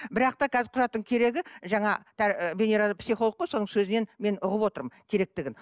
бірақ та қазір құжаттың керегі жаңа венера да психолог қой соның сөзінен мен ұғып отырмын керектігін